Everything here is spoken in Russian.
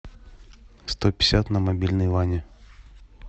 сто пятьдесят на мобильный ване